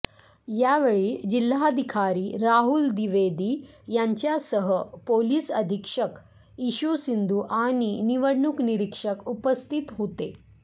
यावेळी जिल्हाधिकारी राहुल द्विवेदी यांच्यासह पोलीस अधीक्षक इशू सिंधू आणि निवडणूक निरीक्षक उपस्थित होते